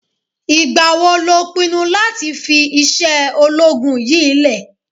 Ìgbà wo lo pinnu láti fi iṣẹ́ ológun yìí lẹ̀?